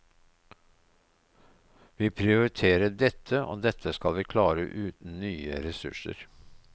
Vi prioriterer dette og dette skal vi klare uten nye ressurser.